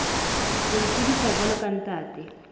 ho itsebisa jwalo ka ntate